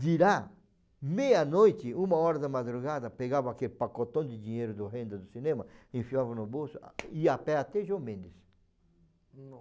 De lá, meia noite, uma hora da madrugada, pegava aquele pacotão de dinheiro da renda do cinema, enfiava no bolso, ia a pé até João Mendes.